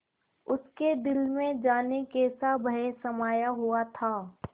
उसके दिल में जाने कैसा भय समाया हुआ था